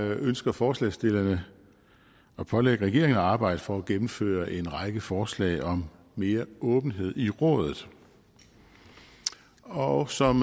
ønsker forslagsstillerne at pålægge regeringen at arbejde for at gennemføre en række forslag om mere åbenhed i rådet og som